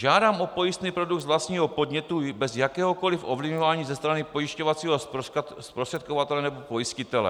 Žádám o pojistný produkt z vlastního podnětu bez jakéhokoliv ovlivňování ze strany pojišťovacího zprostředkovatele nebo pojistitele."